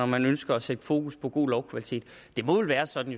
man ønsker at sætte fokus på god lovkvalitet det må vel være sådan